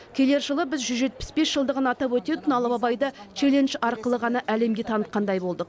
келер жылы біз жүз жетпіс бес жылдығын атап өтетін алып абайды челлендж арқылы ғана әлемге танытқандай болдық